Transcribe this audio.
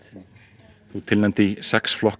þú ert tilnefnd í sex flokkum